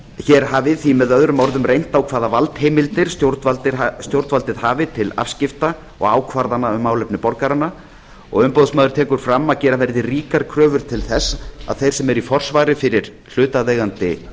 hér hafi því með öðrum orðum reynt á hvaða valdheimildir stjórnvaldið hafi til afskipta og ákvarðana um málefni borgaranna og umboðsmaður tekur fram að gera verði ríkar kröfur til þess að þeir sem eru í forsvari fyrir hlutaðeigandi